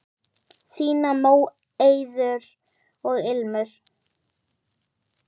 Þínar, Móeiður og Ilmur.